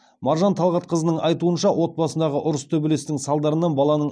маржан талғатқызының айтуынша отбасындағы ұрыс төбелестің салдарынан баланың